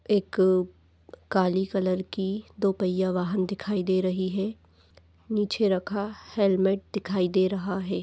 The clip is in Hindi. एक काली कलर की दो पहिया वाहन दिखाई दे रही हैं नीचे रखा हेलमेट दिखाई दे रहा हैं।